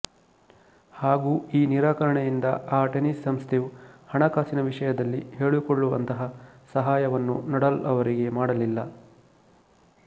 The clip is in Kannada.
ಹಾಗೂ ಈ ನಿರಾಕರಣೆಯಿಂದ ಆ ಟೆನ್ನಿಸ್ ಸಂಸ್ಥೆಯು ಹಣಕಾಸಿನ ವಿಷಯದಲ್ಲಿ ಹೇಳಿಕೊಳ್ಳುವಂತಹ ಸಹಾಯವನ್ನು ನಡಾಲ್ ರವರಿಗೆ ಮಾಡಲಿಲ್ಲ